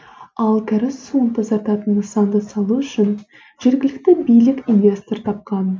ал кәріз суын тазартатын нысанды салу үшін жергілікті билік инвестор тапқан